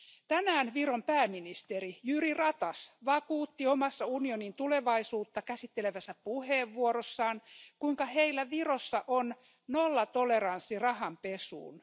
Tänään Viron pääministeri Jüri Ratas vakuutti omassa unionin tulevaisuutta käsittelevässä puheenvuorossaan, kuinka heillä Virossa on nollatoleranssi rahanpesuun.